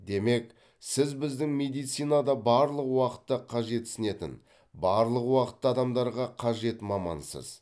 демек сіз біздің медицинада барлық уақытта қажетсінетін барлық уақытта адамдарға қажет мамансыз